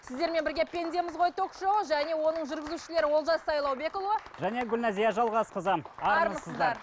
сіздермен бірге пендеміз ғой ток шоуы және оның жүргізушілері олжас сайлаубекұлы және гүлнәзия жалғасқызы армысыздар